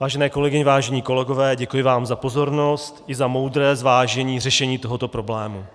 Vážené kolegyně, vážení kolegové, děkuji vám za pozornost i za moudré zvážení řešení tohoto problému.